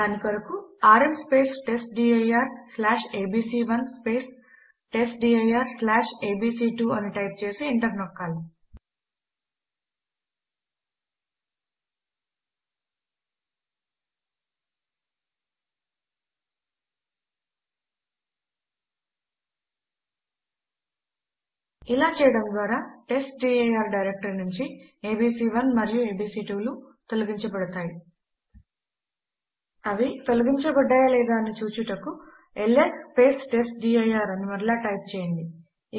దాని కొరకు ఆర్ఎం testdirఏబీసీ1 testdirఏబీసీ2 అని టైప్ చేసి ఎంటర్ నొక్కాలి ఇలా చేయడము ద్వారా టెస్ట్డిర్ డైరెక్టరీ నుంచి ఏబీసీ1 మరియు ఏబీసీ2 లు తొలగించబడుతుంది అవి తొలగించబడ్డాయా లేదా అని చూచుటకు ల్స్ టెస్ట్డిర్ అని మరలా టైప్ చేయండి